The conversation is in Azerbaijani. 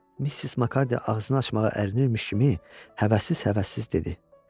Missis Makardiy ağzını açmağa ərinirmiş kimi həvəssiz-həvəssiz dedi.